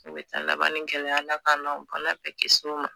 U bɛ taa laban ni gɛlɛya Ala kan n'aw Ala k'an kisi o ma